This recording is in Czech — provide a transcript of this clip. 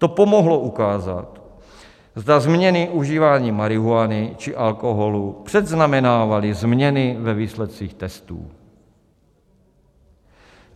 To pomohlo ukázat, zda zmíněné užívání marihuany či alkoholu předznamenávalo změny ve výsledcích testů.